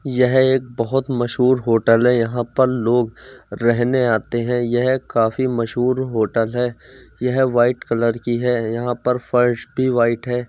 यह एक बहोत मशहूर होटल हैं। यहाँ पर लोग रहने आते हैं। यह काफी मशहूर होटल है। यह व्हाइट कलर की है यहाँ पर फर्श भी व्हाइट है।